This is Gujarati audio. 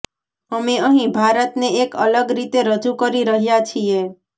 અમે અહીં ભારતને એક અલગ રીતે રજૂ કરી રહ્યાં છીએ